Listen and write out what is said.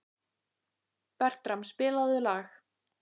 Bertram, spilaðu lag.